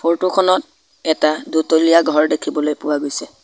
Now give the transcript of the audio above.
Photo খনত এটা দুতলীয়া ঘৰ দেখিবলৈ পোৱা গৈছে।